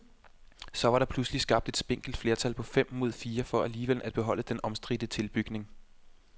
Så var der pludselig skabt et spinkelt flertal på fem mod fire for alligevel at beholde den omstridte tilbygning.